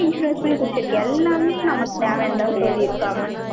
எல்லா insurance மே புடிச்சிருக்கு. எல்லாமே நமக்கு தேவைன்னுதான் சொல்லியிருக்காங்க.